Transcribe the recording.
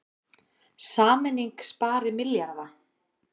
Sameining spari milljarða